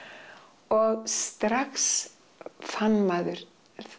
og strax fann maður